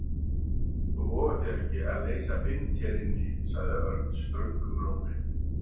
Þú vogar þér ekki að leysa vind hér inni sagði Örn ströngum rómi.